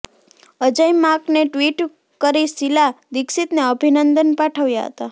અજય માકને ટ્વિટ કરી શીલા દીક્ષિતને અભિનંદન પાઠવ્યા હતા